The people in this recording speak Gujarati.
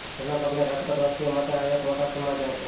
જેના પગલે રાજકોટવાસીઓ માટે આ એક મોટા સમચાર છે